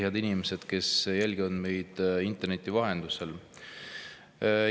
Head inimesed, kes jälgivad meid interneti vahendusel!